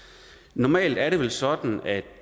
normalt er det vel sådan at